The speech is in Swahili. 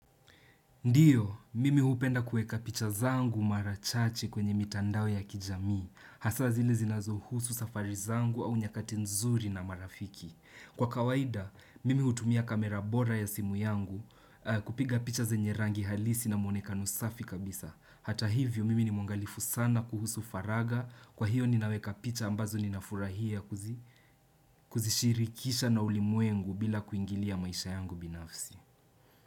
Ndiyo, mimi hupenda kueka picha zangu mara chache kwenye mitandao ya kijamii, hasa zile zinazohusu safari zangu au nyakati nzuri na marafiki. Kwa kawaida, mimi hutumia kamera bora ya simu yangu kupiga picha zenye rangi halisi na mwonekano safi kabisa. Hata hivyo, mimi ni mwangalifu sana kuhusu faragha, kwa hiyo ninaweka picha ambazo ninafurahia kuzishirikisha na ulimwengu bila kuingilia maisha yangu binafsi.